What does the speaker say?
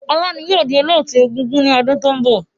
Ọlá ni yìí ó di Olóótù egúngún ni ọdún to ń bọ̀